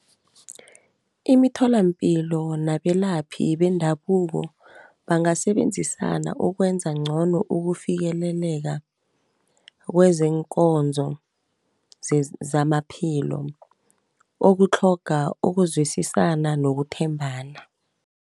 Imitholapilo nabelaphi bendabuko bangasebenzisana, ukwenza ngcono ukufikeleleka kwezeenkonzo zamaphilo, okutlhoga ukuzwisisana nokuthembana.